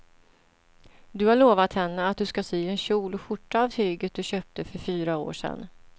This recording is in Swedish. Du har lovat henne att du ska sy en kjol och skjorta av tyget du köpte för fyra år sedan.